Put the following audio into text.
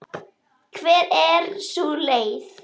Hver er sú leið?